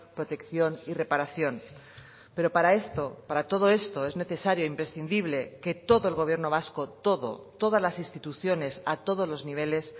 protección y reparación pero para esto para todo esto es necesario imprescindible que todo el gobierno vasco todo todas las instituciones a todos los niveles